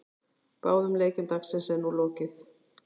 Báðum leikjum dagsins er nú lokið.